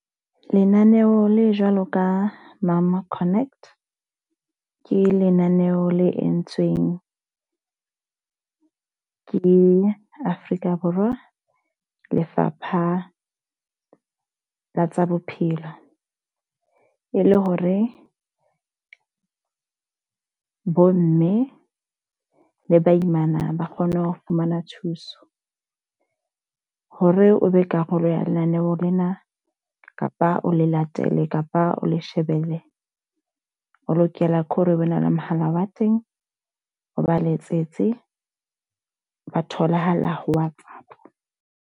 Lenaneo le jwalo ka Mom Connect ke lenaneo le entsweng ke Afrika Borwa, Lefapha la tsa Bophelo. E le hore bo mme le baimana ba kgone ho fumana thuso. Hore o be karolo ya lenaneo lena, kapa o le latele, kapa o le shebelle. O lokela ke hore o ba ne le mohala wa teng, o ba letsetse ba tholahala ho WhatsApp.